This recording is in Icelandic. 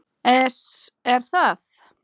ES Er það?